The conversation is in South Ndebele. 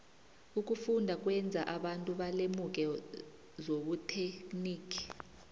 ukufunda kwenza abantu balemuke zobuterhnigi